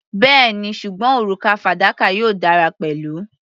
Bẹ́ẹ̀ni, ṣùgbọ́n òrùka fadakà yóò dára pẹ̀lú.